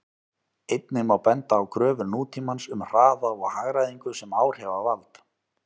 Einnig má benda á kröfur nútímans um hraða og hagræðingu sem áhrifavald.